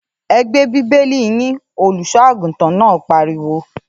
‘E̩ gbé bíbélì yín!’, olùs̩ó̩-àgùntàn náà pariwo